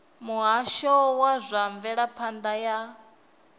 muhasho wa zwa mvelaphanda ya